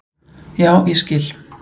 Já, ég skil